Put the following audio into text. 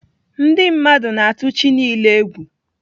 Ndị mmadụ na-atụ chi niile egwu.